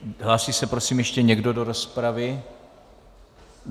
Hlásí se prosím ještě někdo do rozpravy?